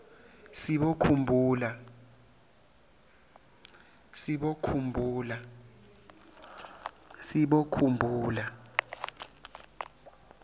sibokhumbula